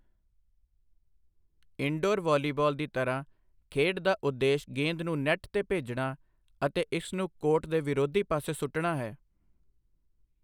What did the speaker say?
Indoor volleyball ਦੀ ਤਰ੍ਹਾਂ, ਖੇਡ ਦਾ ਉਦੇਸ਼ ਗੇਂਦ ਨੂੰ ਨੈੱਟ 'ਤੇ ਭੇਜਣਾ ਅਤੇ ਇਸ ਨੂੰ ਕੋਰਟ ਦੇ ਵਿਰੋਧੀ ਪਾਸੇ ਸੁੱਟਣਾ ਹੈ।